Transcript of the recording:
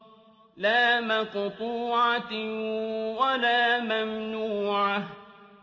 لَّا مَقْطُوعَةٍ وَلَا مَمْنُوعَةٍ